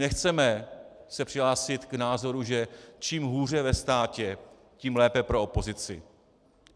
Nechceme se přihlásit k názoru, že čím hůře ve státě, tím lépe pro opozici.